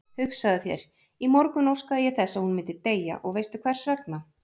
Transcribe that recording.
Hugsaðu þér, í morgun óskaði ég þess að hún myndi deyja og veistu hversvegna?